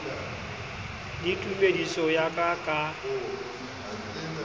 le tumediso ya ka ka